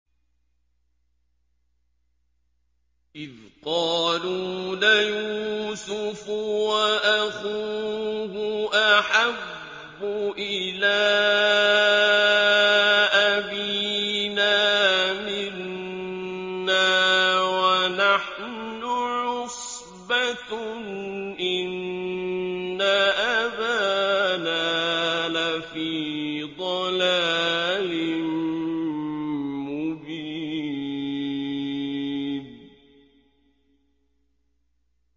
إِذْ قَالُوا لَيُوسُفُ وَأَخُوهُ أَحَبُّ إِلَىٰ أَبِينَا مِنَّا وَنَحْنُ عُصْبَةٌ إِنَّ أَبَانَا لَفِي ضَلَالٍ مُّبِينٍ